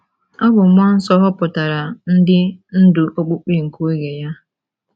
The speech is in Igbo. Ọ̀ bụ mmụọ nsọ họpụtara ndị ndú okpukpe nke oge ya?